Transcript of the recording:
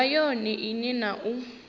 nga yone ine na u